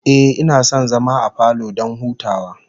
Ehh, ina son zama a falo don hutawa